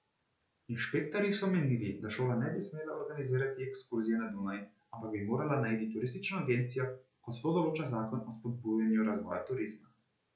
Inšpektorji so menili, da šola ne bi smela organizirati ekskurzije na Dunaj, ampak bi morala najeti turistično agencijo, kot to določa zakon o spodbujanju razvoja turizma.